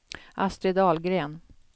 Astrid Ahlgren